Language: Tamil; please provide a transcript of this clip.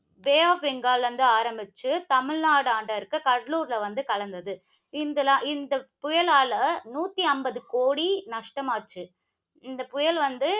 பே ஆஃப் பெங்கால்ல இருந்து ஆரம்பிச்சு, தமிழ்நாடாண்ட இருக்கிற கடலூரில வந்து கலந்தது. இந்த~ இந்த புயலால நூத்தி ஐம்பது கோடி நஷ்டமாச்சு. இந்த புயல் வந்து,